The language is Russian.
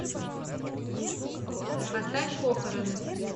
поставь похороны